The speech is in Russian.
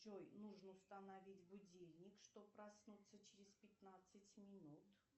джой нужно установить будильник чтобы проснуться через пятнадцать минут